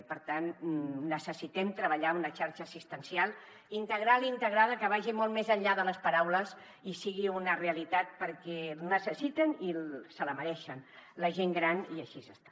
i per tant necessitem treballar una xarxa assistencial integral i integrada que vagi molt més enllà de les paraules i sigui una realitat perquè la necessiten i se la mereixen la gent gran i així està